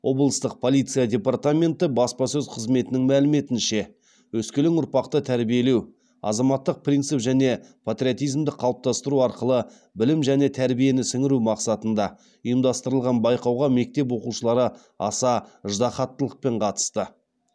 облыстық полиция департаменті баспасөз қызметінің мәліметінше өскелең ұрпақты тәрбиелеу азаматтық принцип және патриотизмді қалыптастыру арқылы білім және тәрбиені сіңіру мақсатында ұйымдастырылған байқауға мектеп оқушылары аса ыждаһаттылықпен қатысты